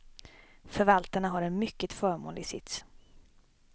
Förvaltarna har en mycket förmånlig sits.